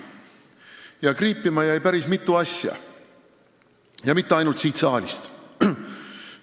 Päris mitu asja jäi kriipima, ja mitte ainult siin saalis kuuldust.